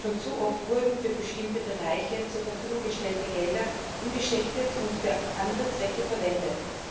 Schon zu oft wurden für bestimmte Bereiche zur Verfügung gestellte Gelder umgeschichtet und für andere Zwecke verwendet.